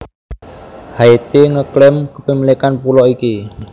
Haiti nge klaim kepemilikan pulo iki